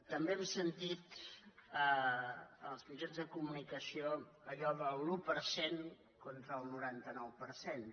també hem sentit als mitjans de comunicació allò de l’un per cent contra el noranta nou per cent